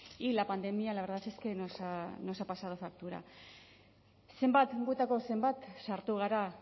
y la pandemia la verdad es que nos ha pasado factura zenbat hauetako zenbat sartu gara